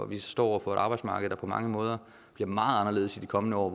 vi står over for et arbejdsmarked der på mange måder bliver meget anderledes i de kommende år og